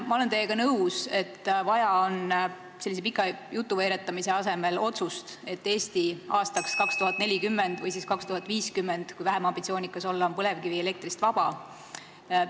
Ma olen teiega nõus, et sellise pika jutuveeretamise asemel on vaja otsust, et Eesti on aastaks 2040 või 2050 põlevkivielektrist vaba.